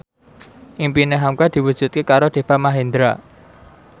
impine hamka diwujudke karo Deva Mahendra